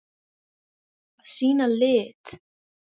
Að sýna lit.